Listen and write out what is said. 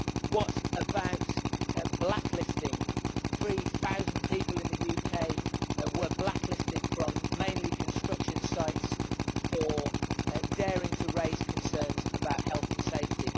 What about blacklisting? Three thousand people in the UK were blacklisted, mainly from construction sites, for daring to raise concerns about health and safety.